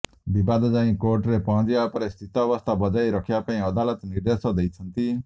ବିବାଦ ଯାଇ କୋର୍ଟରେ ପହଞ୍ଚିବା ପରେ ସ୍ଥିତାବସ୍ଥା ବଜାୟ ରଖିବା ପାଇଁ ଅଦାଲତ ନିର୍ଦେଶ ଦେଇଛନ୍ତି